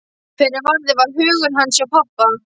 Fyrr en varði var hugur hans hjá pabba.